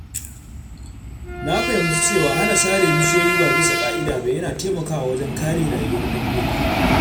Na fahimci cewa hana sare bishiyoyi ba bisa ƙa'ida ba yana taimakawa wajen kare rayuwar dabbobi.